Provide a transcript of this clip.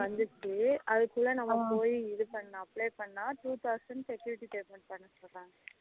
வந்துடுச்சி அதுக்குல நம்ம போய் இது பன்னா apply பன்னா two thousand security payment பன்ன சொல்லுறாங்க